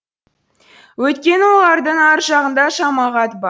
өйткені олардың ар жағында жамағат бар